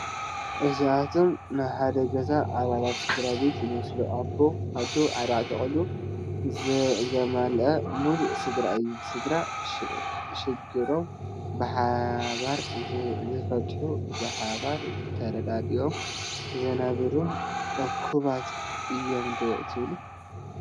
እዚኣቶም ናይ ሓደ ገዛ ኣባላት ስድራ ቤት ይመስሉ፡፡ ኣቦ፣ ኣዶ፣ 4 ቆልዑትን ዘማልአ ሙሉእ ስድራ እዩ፡፡ ስድራ ሽግሮም ብሓባር ዝፈትሑን ብሓባር ተረደዲኦም ዝነብሩን እኩባት እዮም ዶ ትብሉ?